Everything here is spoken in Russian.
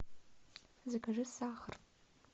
закажи сахар